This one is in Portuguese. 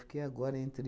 agora entre...